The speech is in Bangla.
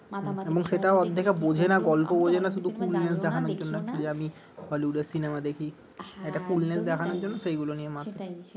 এবং সেটাও অতটা দেখে বোঝে না গল্প বোঝে না শুধু দেখানোর জন্য আমি হলিউডের সিনেমা দেখি একটা দেখানোর জন্য সেগুলো নিয়ে মাতামাতি